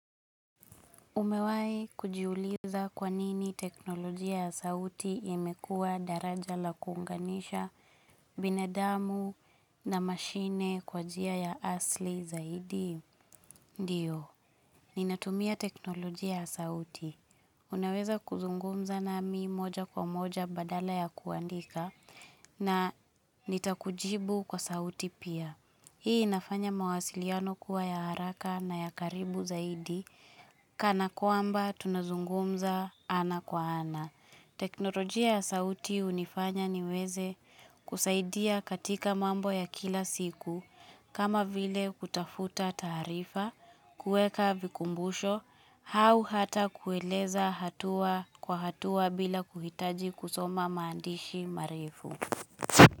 Umewahi kujiuliza kwanini teknolojia ya sauti imekua daraja la kuunganisha binadamu na mashine kwa njia ya asili zaidi? Ndio, ninatumia teknolojia ya sauti. Unaweza kuzungumza nami moja kwa moja badala ya kuandika na nitakujibu kwa sauti pia. Hii inafanya mawasiliano kuwa ya haraka na ya karibu zaidi, kana kwamba tunazungumza ana kwa ana. Teknolojia ya sauti hunifanya niweze kusaidia katika mambo ya kila siku, kama vile kutafuta taarifa, kuweka vikumbusho, au hata kueleza hatua kwa hatua bila kuhitaji kusoma maandishi marefu.